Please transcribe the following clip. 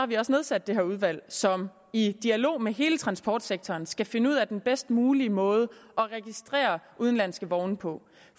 vi også nedsat det her udvalg som i dialog med hele transportsektoren skal finde ud af den bedst mulige måde at registrere udenlandske vogne på